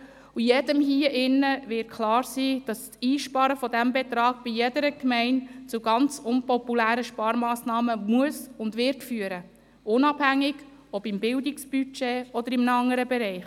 Jedem hier im Saal wird klar sein, dass das Einsparen dieses Betrags bei jeder Gemeinde zu ganz unpopulären Sparmassnahmen führen muss und wird, unabhängig davon, ob im Bildungsbudget oder in einem anderen Bereich.